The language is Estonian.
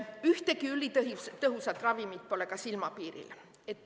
Ühtegi ülitõhusat ravimit pole ka silmapiiril.